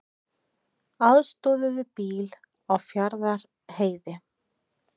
Aðstoðuðu bíl á Fjarðarheiði